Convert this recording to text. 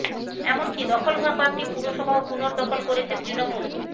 এমনকি দখল হওয়া কয়েকটি পুরসভাও পুনর্দখল করেছে তৃণমূল